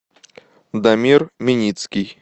дамир меницкий